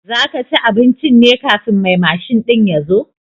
Za ka ci abincin ne kafin mai mashin ɗin ya zo?